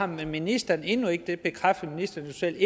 ministeren endnu ikke og det bekræftede ministeren jo selv